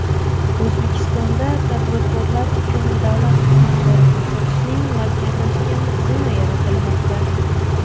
O‘zbekistonda tadbirkorlar uchun davlat xizmatlari ko‘rsatishning markazlashgan tizimi yaratilmoqda.